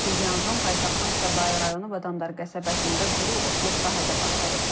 Belə ki, yanğın paytaxtın Səbail rayonu Badamdar qəsəbəsində quru otluq sahədə baş verib.